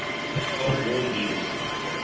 cold war leaders